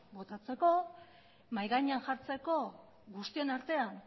luzatzeko mahai gainean jartzeko guztion artean